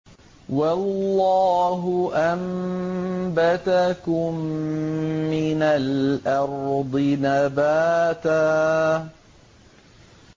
وَاللَّهُ أَنبَتَكُم مِّنَ الْأَرْضِ نَبَاتًا